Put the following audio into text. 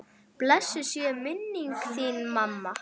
Blessuð sé minning þín mamma.